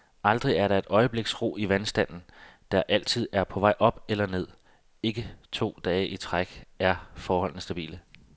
Aldrig er der et øjebliks ro i vandstanden, der altid er på vej op eller ned, og ikke to dage i træk er forholdene stabile.